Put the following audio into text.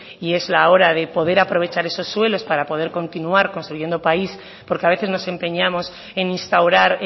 y es la hora de poder aprovechar esos suelos para poder continuar construyendo país porque a veces nos empeñamos en instaurar